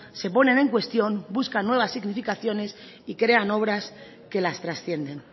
se ponen en cuestión buscan nuevas significaciones y crean obras que las trascienden